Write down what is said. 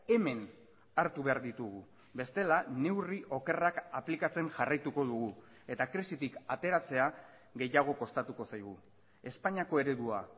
hemen hartu behar ditugu bestela neurri okerrak aplikatzen jarraituko dugu eta krisitik ateratzea gehiago kostatuko zaigu espainiako eredua